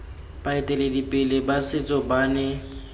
baeteledipele ba setso ba ne